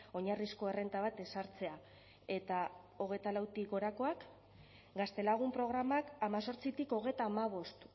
oinarrizko errenta bat ezartzea eta hogeita lautik gorakoak gaztelagun programak hemezortzitik hogeita hamabost